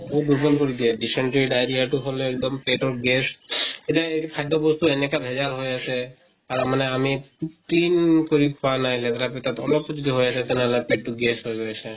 দুৰ্বল কৰি দিয়ে dysentery, diarrhea তো হʼলে এক্দম পেতৰ gas এতিয়ে এ খাদ্য় বস্তু এনেকা ভেজাল হৈ আছে। আৰু মানে আমি উ clean কৰি খোৱা নাই, লেতেৰা পেতেৰা কো যদি হৈ আছে তেনেহলে পেত টো gas হৈ গৈ আছে।